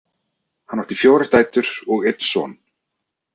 Hann átti fjórar dætur og einn son.